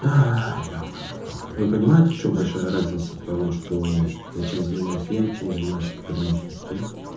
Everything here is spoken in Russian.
ебанный в рот вы понимаете в чем большая разница того что чем занимаюсь я и чем занимается пограничник да